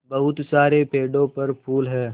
बहुत सारे पेड़ों पर फूल है